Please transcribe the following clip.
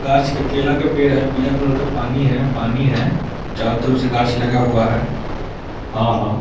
गाछ के केला का पेड़ है। पीला कलर का पानी है पानी है। चारो तरफ से गाछ लगा हुआ है हां हां --